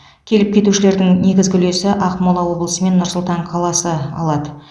келіп кетушілердің негізгі үлесін ақмола облысы мен нұр сұлтан қаласы алады